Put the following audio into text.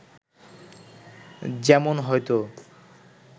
যেমন হয়তো